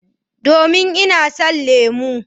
Domin ina son lemu.